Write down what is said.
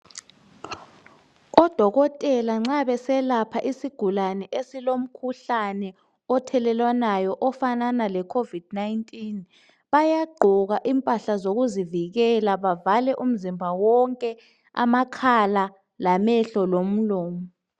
Odokotela nxa beselapha isigulane esilomkhuhlane othelelwanayo ofanana le covid 19, bayagqoka impahla zokuzivikela bevale umzimba wonke amakhala lamehlo lomlomo.